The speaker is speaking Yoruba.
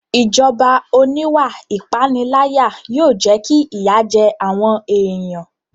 Ìjọba oníwà ìpániláyà yóò jẹ́ kí ìyà jẹ àwọn èèyàn